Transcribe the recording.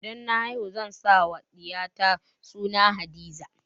Idan na haihu zan sa wa ɗiya ta suna Hadiza